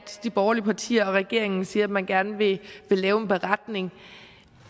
de borgerlige partier og regeringen siger at man gerne vil lave en beretning